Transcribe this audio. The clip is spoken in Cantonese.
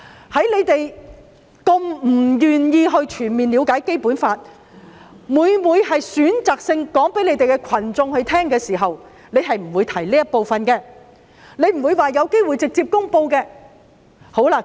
由於反對派不願意全面了解《基本法》，每每選擇性地告訴支持他們的群眾，所以絕不會提及直接公布的可能性。